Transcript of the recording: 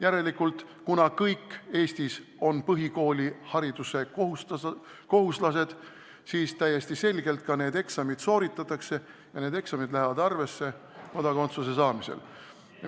Järelikult, kuna kõigil Eestis on põhikoolihariduse kohustus, siis täiesti selgelt ka need eksamid sooritatakse ja need eksamid lähevad arvesse kodakondsuse saamisel.